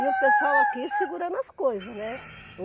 E o pessoal aqui segurando as coisas, né?